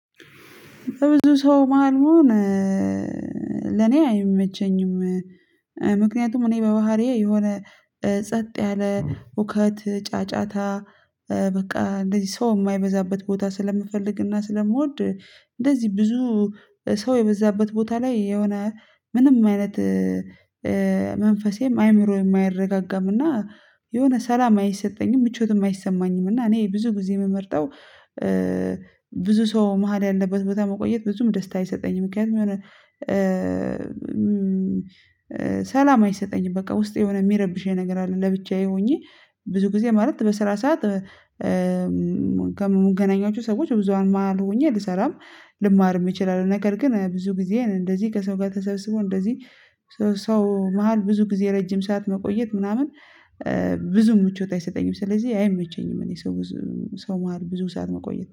በብዙ ሰው መሃል መሆን ለኔ አይመቸኝም። ምክንያቱም እኔ በባህሪዬ የሆነ ጸጥ ያለ ሁከት ጫጫታ በቃ እንደዚህ ሰው የማይበዛበት ቦታ ስለምፈልግና ስለምወድ። እንደዚህ ብዙ ሰው የበዛበት ቦታ ላይ የሆነ ምንም አይነት መንፈሴም አይምሮዬም አይረጋገምም እና የሆነ ሰላም አይሰጠኝም ምቾትም አይሰማኝም። እና እኔ ብዙ ጊዜ የምመርጠው ብዙ ሰው መሃል ያለበት ቦታ መቆየት ብዙም ደስታ አይሰጠኝም። ምክንያቱም የሆነ ሰላም አይሰጠኝም በቃ ውስጥ የሆነ የሚረብሽ የነገር አለ። ለብቻዬ ሆኜ ብዙ ጊዜ ማለት በስራ ሰዓት ከምንገናኛቸው ሰዎች ብዙሃን ማህል ሆኜ ልሰራም ልማርም እችላለሁ። ነገር ግን ብዙ ጊዜ እንደዚህ ከሰው ጋር ተሰብስቦ እንደዚህ ሰው መሃል ብዙ ጊዜ ረጅም ሰዓት መቆየት ምናምን ብዙም ምቾት አይሰጠኝም ስለዚህ አይመቸኝም። እኔ ሰው ሰው መሃል ብዙ ሰዓት መቆየት